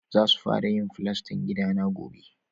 Za su fara yin fulastan gidana gobe.